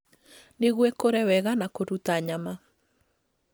nĩguo ikũre wega na kũruta nyama.